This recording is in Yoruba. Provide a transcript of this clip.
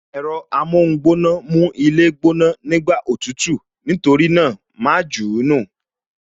Ẹ̀rọ amóhun gbóná mú ilé gbóná, nígbà òtútù, nítorí náà, ma jù ú nù